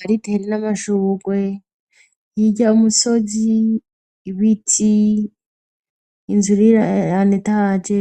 Har'itere n'amashurwe, hirya y' umusozi, ibiti inzu iri en étage,